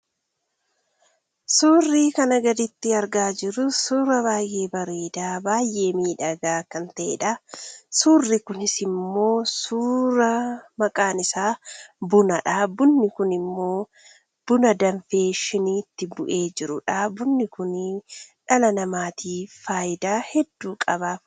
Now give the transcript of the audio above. Suurri kana gaditti argaa jirru suura baay'ee bareedaa, baay'ee miidhagaa kan ta’edha. Suurri kunis immoo suuraa maqaan isaa bunadha. Bunni ku immoo buna danfee shiniitti bu'ee jirudha. Bunni kun dhala namaatiif faayidaa hedduu qaba.